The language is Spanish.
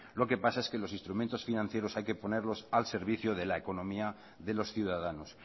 lo que pasa es que los instrumentos financieros hay que ponerlos al servicio de la economía de los ciudadanos